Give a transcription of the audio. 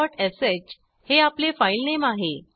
forश हे आपले फाईलनेम आहे